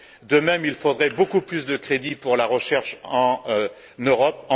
De même, il faudrait beaucoup plus de crédits pour la recherche en Europe.